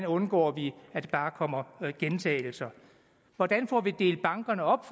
undgår at der bare kommer gentagelser hvordan får vi delt bankerne op